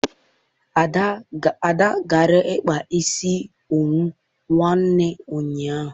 Ada gara kpaa isi owu nwanne ụnyaahụ